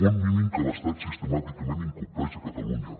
un mínim que l’estat sistemàticament incompleix a catalunya